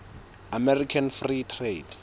american free trade